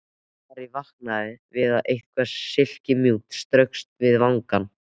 Ari vaknaði við að eitthvað silkimjúkt straukst við vangann.